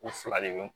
U fila de be